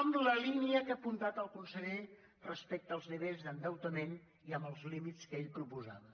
en la línia que ha apuntat el conseller respecte als nivells d’endeutament i amb els límits que ell proposava